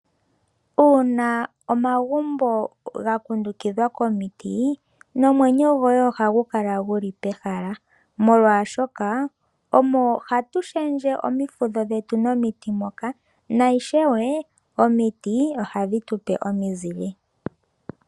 Uuna omagumbo ga kundukidhwa komiti nomwenyo goue ohagu kala guli pehala molwashoka omo hatu sshendje omifudho dhetu momiti moka naishewe omiti ohadhi tupe omizile.